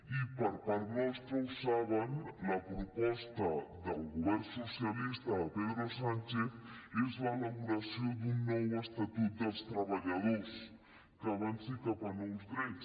i per part nostra ho saben la proposta del govern socialista de pedro sánchez es l’elaboració d’un nou estatut dels treballadors que avanci cap a nous drets